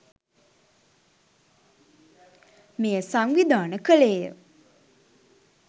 මෙය සංවිධාන කළේය.